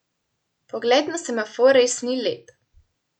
Pogled na semafor res ni lep.